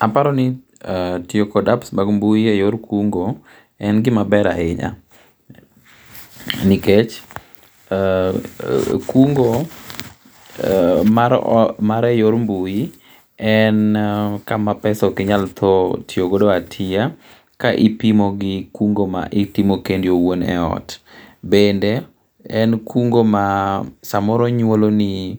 Aparo ni tiyo gi apps mag mbui yor kungo en gi maber ahinya nikech kungo mar e yor mbui en ka ma pesa ok inya thoo tiyo go a tiyo ka ipimo gi kungo ma itimo kendi iwuon e ot. En kungo ma sa moro nyuolo ni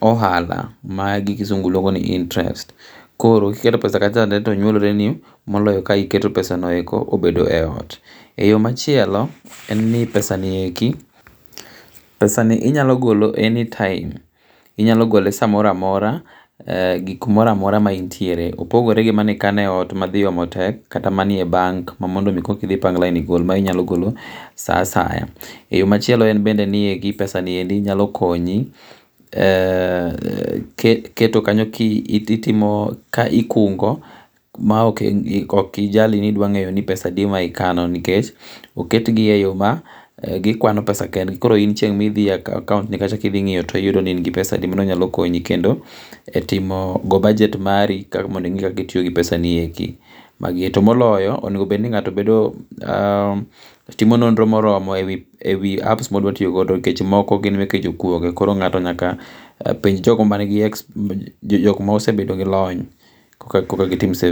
ohala ma gi kisungu iluongo ni interest koro ki iketo pesa kacha cha to nyuolre ni moloyo ki iketo pesa no e ot.E yo machielo en ni pesa gi eki anyolo gole anytime inyalo gole sa moro amora gi kumoro amora ma intie, opogore gi ma ni ikane e ot ma dhi omo tek kata ma ni e bank ma mondo mi kok idhi ipang lain igol ,ma inyalo golo sa asaya. yoo ma chielo en ni pesa ni nyalo konyi e keto kanyo ki itimo ka ikungo ma ok ijali ni pesa adi ma ikano nikech oketi e yo ma gi kwono pesa kendgi koro in chieng ma idhi e akaunt kacha ki idhi ng'iyo ti iyudo ni in gi pesa di.mano nyalo konyo kendo e timo go bajet mari mondo ing'i kaka itiyo gi pesa ni eki to moloyo onego bed ni ng'ato timo nonro ma oromo e wi app[c] ma odwa tiyo go nikech app gi moko gin meke jokuoge koro ng'ato penj jo go ma ni gi experience ma osebedo gi lony koka gi tim saving.